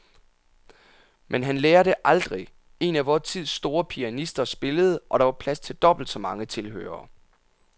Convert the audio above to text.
Men han lærer det aldrig. En af vor tids store pianister spillede, og der var plads til dobbelt så mange tilhørere.